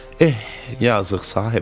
Eh, yazıq Sahibəli.